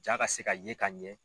Jaa ka se ka ye ka ɲɛ